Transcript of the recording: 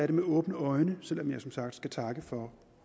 det med åbne øjne selv om jeg som sagt skal takke for